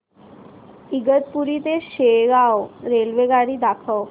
इगतपुरी ते शेगाव रेल्वेगाडी दाखव